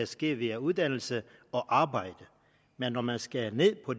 sker via uddannelse og arbejde men når man skærer ned på